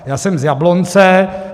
Já jsem z Jablonce.